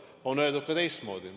Aga on öeldud ka teistmoodi.